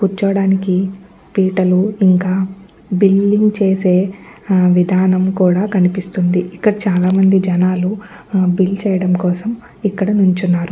కూర్చోవడానికి పీటలు ఇంకా బిల్లింగ్ చేసే విధానం కూడా కనిపిస్తుంది. ఇక్కడ చాలా మంది జనాలు ఆ బిల్ చేయడం కోసం ఇక్కడ నించున్నారు.